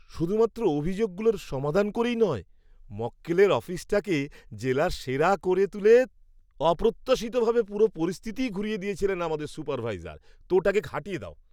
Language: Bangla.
শুধুমাত্র অভিযোগগুলোর সমাধান করেই নয়, মক্কেলের অফিসটাকে জেলার সেরা করে তুলে অপ্রত্যাশিতভাবে পুরো পরিস্থিতিই ঘুরিয়ে দিয়েছিলেন আমাদের সুপারভাইজার!